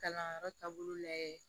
Kalanyɔrɔ taabolo lajɛ